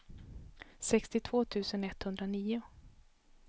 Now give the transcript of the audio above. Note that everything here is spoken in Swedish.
sextiotvå tusen etthundranio